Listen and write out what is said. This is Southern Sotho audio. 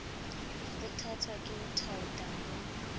kgothatswa ke ho thaotha ho